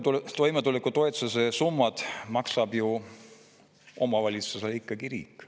Toimetulekutoetuse summad maksab ju omavalitsusele ikkagi riik.